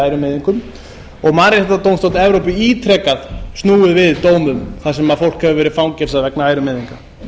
ærumeiðingum og mannréttindadómstóll evrópu ítrekað snúið við dómum þar sem fólk hefur verið fangelsað vegna ærumeiðinga